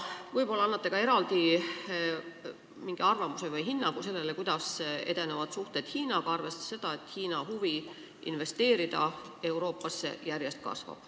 Võib-olla annate ka eraldi arvamuse või hinnangu sellele, kuidas edenevad suhted Hiinaga, arvestades seda, et Hiina huvi investeerida Euroopasse järjest kasvab.